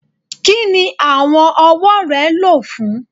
Kini awọn ọwọ rẹ lo fun?